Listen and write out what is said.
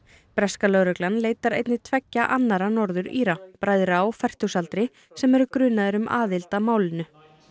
breska lögreglan leitar einnig tveggja annarra Norður Íra bræðra á fertugsaldri sem eru grunaðir um aðild að málinu